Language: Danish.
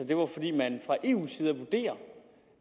det var fordi man fra eu’s side vurderer